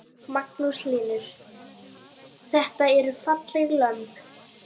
Magnús Hlynur: Þetta eru falleg lömb?